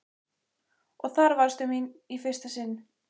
Og þar varðstu mín í fyrsta sinn.